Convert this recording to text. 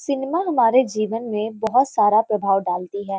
Cinema हमारे जीवन में बोहोत सारा प्रभाव डालती है।